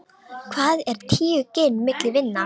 Hvað eru tíu gin milli vina.